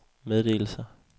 meddelelser